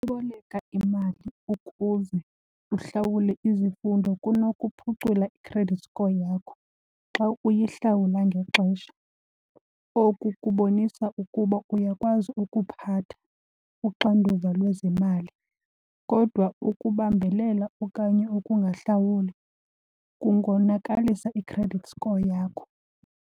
Uboleka imali ukuze uhlawule izifundo kunokuphucula i-credit score yakho xa uyihlawula ngexesha. Oku kubonisa ukuba uyakwazi ukuphatha uxanduva lwezemali, kodwa ukubambelela okanye ukungahlawula kungonakalisa i-credit score yakho.